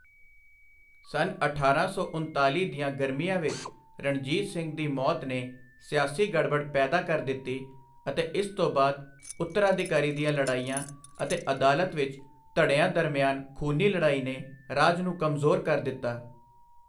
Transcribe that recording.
ਸੰਨ ਅਠਾਰਾਂ ਸੌ ਉਣਤਾਲੀ ਦੀਆਂ ਗਰਮੀਆਂ ਵਿੱਚ ਰਣਜੀਤ ਸਿੰਘ ਦੀ ਮੌਤ ਨੇ ਸਿਆਸੀ ਗੜਬੜ ਪੈਦਾ ਕਰ ਦਿੱਤੀ ਅਤੇ ਇਸ ਤੋਂ ਬਾਅਦ ਉੱਤਰਾਧਿਕਾਰੀ ਦੀਆਂ ਲੜਾਈਆਂ ਅਤੇ ਅਦਾਲਤ ਵਿੱਚ ਧੜਿਆਂ ਦਰਮਿਆਨ ਖੂਨੀ ਲੜਾਈ ਨੇ ਰਾਜ ਨੂੰ ਕਮਜ਼ੋਰ ਕਰ ਦਿੱਤਾ।